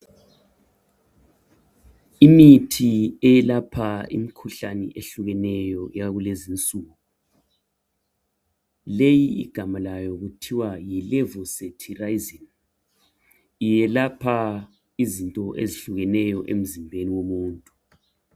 Imithi eyelapha imikhuhlane eyehlukeneyo yakule nzinsuku leyi igamalayo kuthiwa yi levocetirizine iyelapha izinto ezihlukeneyo emzimbeni womuntu